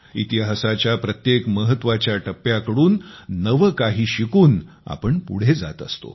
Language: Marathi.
इतिहासाच्या प्रत्येक महत्वाच्या टप्प्यांकडून नवे काही शिकून आपण पुढे जात असतो